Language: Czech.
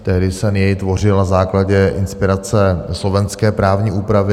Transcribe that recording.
Tehdy jsem jej tvořil na základě inspirace slovenské právní úpravy.